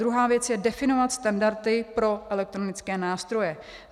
Druhá věc je definovat standardy pro elektronické nástroje.